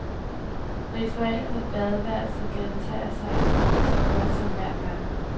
Ritualet med badeværelset gentager sig så godt som hver dag.